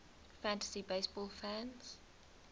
fantasy baseball fans